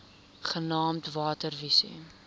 genaamd water wise